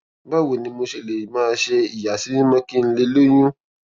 báwo ni mo ṣe lè máa ṣe ìyàsímímó kí n lè lóyún